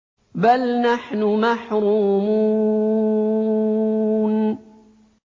بَلْ نَحْنُ مَحْرُومُونَ